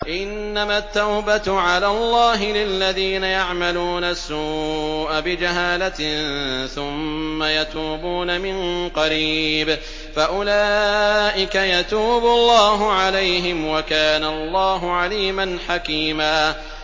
إِنَّمَا التَّوْبَةُ عَلَى اللَّهِ لِلَّذِينَ يَعْمَلُونَ السُّوءَ بِجَهَالَةٍ ثُمَّ يَتُوبُونَ مِن قَرِيبٍ فَأُولَٰئِكَ يَتُوبُ اللَّهُ عَلَيْهِمْ ۗ وَكَانَ اللَّهُ عَلِيمًا حَكِيمًا